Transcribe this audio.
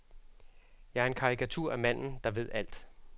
Jeg er en karikatur af manden, der ved alt.